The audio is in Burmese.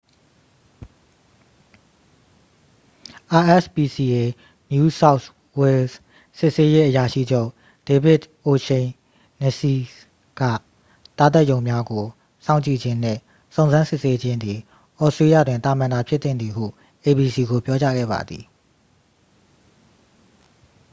rspca new south wales စစ်ဆေးရေးအရာရှိချုပ် ဒေးဗစ်အိုရှိန်နစီစ် က သားသတ်ရုံများကို စောင့်ကြည့်ခြင်းနှင့် စုံစမ်းစစ်ဆေးခြင်းသည် သြစတေးလျတွင် သာမန်သာဖြစ်သင့်သည်ဟု abc ကို ပြောကြားခဲ့ပါသည်